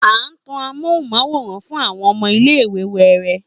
A tan ámúhóunmáwòrán fún àwọn ọmọ iléìwè wẹẹrẹ